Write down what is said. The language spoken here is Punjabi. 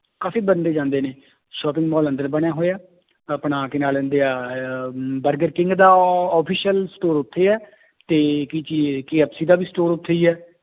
ਕਾਫ਼ੀ ਬੰਦੇ ਜਾਂਦੇ ਨੇ shopping ਮਾਲ ਅੰਦਰ ਬਣਿਆ ਹੋਇਆ ਆਪਣਾ ਕੀ ਨਾਂ ਲੈਂਦੇ ਹੈ ਆਹ ਬਰਗਰ ਕਿੰਗ ਦਾ official store ਉੱਥੇ ਹੈ ਤੇ ਕੀ ਚੀਜ਼ KFC ਦਾ ਵੀ store ਉੱਥੇ ਹੀ ਹੈ